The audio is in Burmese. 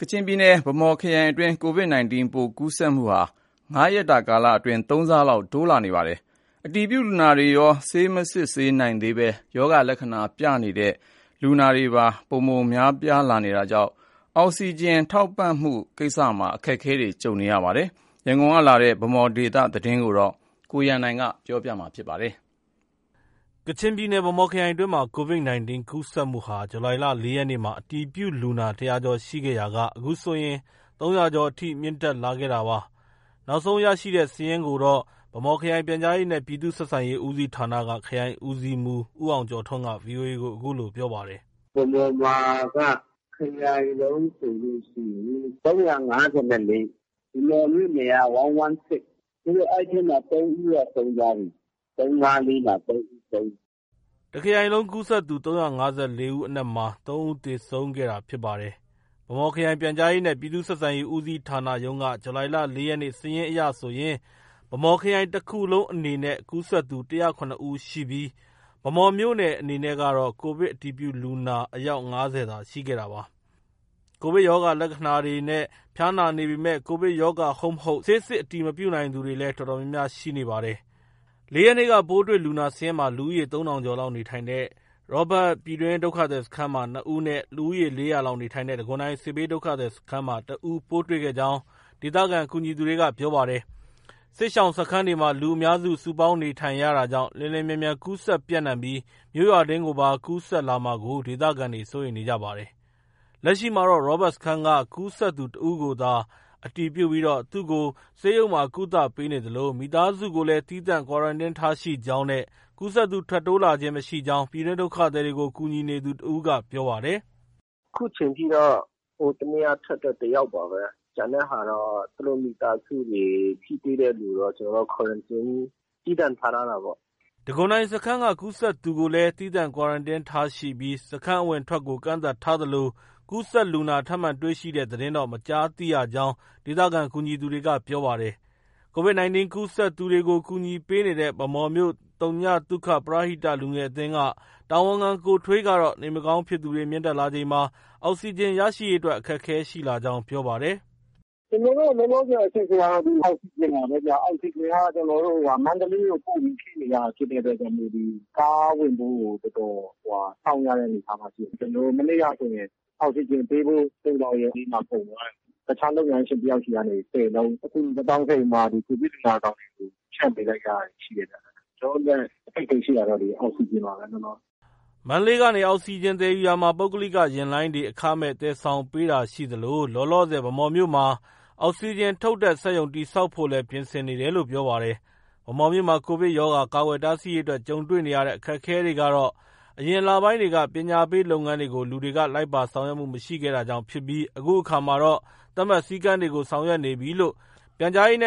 ကချင်ပြည်နယ် ဗန်းမော်ခရိုင်အတွင်းမှာ Covid 19 ပိုးကူးစက်မှုဟာ ၅ ရက်အတွင်း ၃ ဆလောက် တိုးလာပါတယ်။ အတည်ပြုလူနာတွေရော၊ ဆေး မစစ်နိုင်သေးပေမဲ့ ကိုဗစ်ရောဂါလက္ခဏာပြနေသူတွေပါ များပြားလာတာကြောင့် အောက်စီဂျင် ထောက်ပံ့ရေးမှာ အခက်အခဲတွေ ရှိနေပါတယ်။ ရန်ကုန်ကလာတဲ့ ဗန်းမော်ဒေသ သတင်းကိုတော့ ကိုရန်နိုင်က တင်ပြထားပါတယ်။ ကချင်ပြည်နယ် ဗန်းမော်ခရိုင်အတွင်းမှာ Covid 19 ကူးစက်မှုဟာ ဇူလိုင် ၄ ရက်နေ့က အတည်ပြုလူနာ ၁၀၀ ကျော်ရှိခဲ့ရာက အခုဆိုရင် ၃၀၀ ကျော်အထိ မြင့်တက်လာခဲ့တာပါ။ လက်ရှိ နောက်ဆုံး ရရှိထားတဲ့စာရင်းကိုတော့ ဗန်းမော်ခရိုင် ပြန်ကြားရေးနဲ့ ပြည်သူ့ ဆက်ဆံရေး ဦးစီးဌာနက ခရိုင်ဦးစီးမှုး ဦးအောင်ကျော်ထွန်းက VOA ကို အခုလို ပြောပါတယ်။ “ဗန်းမော်မှာက ခရိုင်လုံးဆိုရင် ၃၅၄ ဦး၊ ဗန်းမော်မြို့နယ်က ၁၁၆။ အဲဒီထဲမှာ ၃ ဦးက ဆုံးသွားပြီ။ ၃၅၄ မှာ ၃ ဦးဆုံးတယ်။ ” တစ်ခရိုင်လုံး ကူးစက်သူ ၃၅၄ ဦးအနက်မှာ ၃ ဦးသေဆုံးခဲ့တာဖြစ်ပါတယ်။ ဗန်းမော်ခရိုင် ပြန်ကြားရေးနဲ့ ပြည်သူ့ ဆက်ဆံရေး ဦးစီးဌာနရုံးက ဇူလိုင်လ ၄ ရက်နေ့ စာရင်းအရဆိုရင် ဗန်းမော်ခရိုင်တစ်ခရိုင်လုံးအနေနဲ့ ကူးစက်သူ ၁၀၇ ဦးရှိပြီး ဗန်းမော်မြို့နယ်အနေနဲ့ကတော့ ကိုဗစ်အတည်ပြုလူနာအယောက် ၅၀ သာ ရှိခဲ့တာပါ။ ကိုဗစ်ရောဂါလက္ခဏာတွေနဲ့ ဖျားနာနေပေမဲ့ ကိုဗစ်ရောဂါ ဟုတ် မဟုတ် ဆေးစစ်အတည်မပြုနိုင်သူတွေလည်း တော်တော်များများရှိနေပါတယ်။ ၄ ရက်နေ့ ပိုးတွေ့လူနာစာရင်းမှာ လူဦးရေ ၃ ထောင်ကျော်လောက်နေထိုင်တဲ့ ရောဘတ် ပြည်တွင်းဒုက္ခသည်စခန်းမှာ ၂ ဦးနဲ့ လူဦးရေ ၄၀၀ လောက်နေထိုင်တဲ့ တံခွန်တိုင်စစ်ဘေးဒုက္ခသည်စခန်းမှာ ၁ ဦးပိုးတွေ့ခဲ့ကြောင်း ဒေသခံ ကူညီသူတွေက ပြောခဲ့ပါတယ်။ စစ်ရှောင်စခန်းတွေမှာ လူအများ စုပေါင်းနေထိုင်ရတာကြောင့် လျင်လျင်မြန်မြန်ကူးစက်ပြန့်နှံပြီး မြို့ရွာတွင်းကိုပါ ကူးစက်လာမှာကို ဒေသခံတွေ စိုးရိမ်နေကြပါတယ်။ လက်ရှိမှာတော့ ရောဘတ်စခန်းက ကူးစက်သူတစ်ဦးကိုသာ အတည်ပြုပြီး သူ့ကို ဆေးရုံမှာ ကုသပေးနေသလို မိသားစုကိုလည်း သီးသန့် Quarantine ထားရှိကြောင်းနဲ့ ကူးစက်သူ ထပ်မံ တိုးမြင့်လာတာ မရှိကြောင်း ပြည်တွင်းဒုက္ခသည်တွေကို ကူညီနေသူတစ်ဦးက ပြောပါတယ်။ “အခုချိန်ထိတော့ ဟိုတစ်နေ့က ထွက်တဲ့ တစ်ယောက်ပါပဲ။ ကျန်တဲ့ဟာတော့ သူတို့ မိသားစုတွေ၊ ထိတွေ့တဲ့သူတော့ သူတို့ Quarantine သီးသန့်ထား ထားတာပေါ့။ ထပ်တိုးလူနာတော့ မရှိဘူး။” တံခွန်တိုင်စခန်းက ကူးစက်သူကိုလည်း သီးသန့် Quarantine ထားရှိပြီး စခန်း အဝင်အထွက်ကို ကန့်သတ်ထားသလို ကူးစက်လူနာ ထပ်မံတွေ့ရှိတဲ့သတင်းတော့ မကြားသိရကြောင်း ဒေသခံကူညီသူတွေက ပြောပါတယ်။ Covid 19 ကူးစက်သူတွေကို ကူညီပေးနေတဲ့ ဗန်းမော်မြို့ သုညသုခ ပရဟိတ လူငယ်အသင်းက တာဝန်ခံ ကိုထွေးကတော့ နေမကောင်းဖြစ်သူတွေ မြင့်တက်လာချိန်မှာ အောက်စီဂျင်ရရှိရေးအတွက် အခက်အခဲ ရှိလာကြောင်း ပြောပါတယ်။ “ ကျနော်တို့ လောလောဆည်အခက်အခဲကတော့ အောက်စီဂျင်ပါပဲဗျ။ အောက်စီဂျင်က ကျနော်တို့ မန္တလေးကို ပို့ပြီး ဖြည့်နေရတာဖြစ်တဲ့အတွက်ကြောင့် ဒီ ကားဝင်ဖို့ကို တော်တော် စောင့် ရတဲ့အနေအထားမှာ ရှိတယ်။ မနေ့ကဆိုရင် အောက်စီဂျင်ပေးဖို့ သိုလှောင်ရုံတွေမှာ ကုန်သွားတယ်။ တခြားလုပ်ငန်းရှင်တစ်ယောက်ဆီကနေ ၁၀လုံး အကူအညီ သွားတောင်းခဲ့ပြီးမှ Covid လူနာဆောင်တွေ ဖြန့်ပေးလိုက်ရတာတွေ ရှိတယ်။ ကျနော်တို့အတွက် အခက်အခဲရှိတာကတော့ အောက်စီဂျင်ပါပဲ။ ” မန္တလေးကနေ အောက်စီဂျင်သယ်ယူရာမှာ ပုဂ္ဂလိက ယာဉ်လိုင်းတွေက အခမဲ့ သယ်ဆောင်ပေးတာရှိသလို လောလောဆည် ဗန်းမော်မြို့မှာ အောက်စီဂျင်ထုတ်တဲ့ စက်ရုံ တည်ဆောက်ဖို့လည်း ပြင်ဆင်နေတယ်လို့ ပြောပါတယ်။ ဗန်းမော်မြို့မှာ Covid ရောဂါ ကာကွယ်တားဆီးရေးအတွက် ကြုံတွေ့ခဲ့ရတဲ့အခက်အခဲကတော့ အရင်လပိုင်း တွေက ပညာပေးလုပ်ငန်းတွေကို လူတွေက လိုက်ပါဆောင်ရွက်မှု မရှိခဲ့တာကြောင့်ဖြစ်ပြီး အခုအခါမှာတော့ သတ်မှတ် စည်းကမ်းတွေကို ဆောင်ရွက်နေပြီလို့ ပြန်/ဆက် ခရိုင်